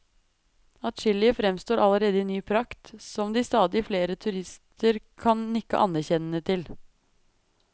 Adskillige fremstår allerede i ny prakt, som de stadig flere turister kan nikke anerkjennende til.